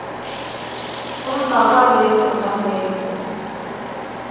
emva kwaleso naleso